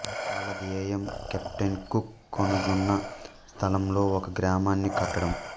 వాళ్ళ ధ్యేయం captain Cook కనుగొన్న స్థలంలో ఒక గ్రామాన్ని కట్టడం